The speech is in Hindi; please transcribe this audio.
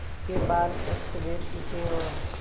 उसके बाल अस्तव्यस्त थे और